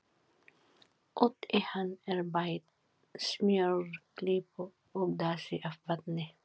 Út í hann er bætt smjörklípu og dassi af vatni.